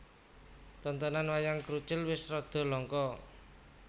Tontonan Wayang Krucil wis rada langka